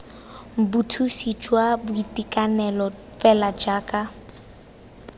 bothusi jwa boitekanelo fela jaaka